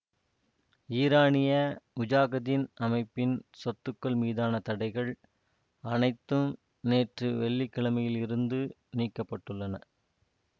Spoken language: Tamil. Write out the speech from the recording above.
ஈரானிய முஜாகதீன் அமைப்பின் சொத்துக்கள் மீதான தடைகள் அனைத்தும் நேற்று வெள்ளிக்கிழமையில் இருந்து நீக்கப்பட்டுள்ளன